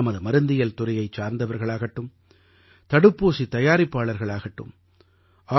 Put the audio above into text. நமது மருந்தியல் துறையைச் சார்ந்தவர்களாகட்டும் தடுப்பூசித் தயாரிப்பாளர்கள் ஆகட்டும்